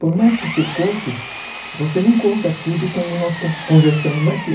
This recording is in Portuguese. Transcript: Por mais que você conte, você não conta tudo como nós conversamos aqui.